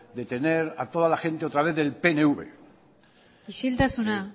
de tener a toda la gente otra vez del pnv isiltasuna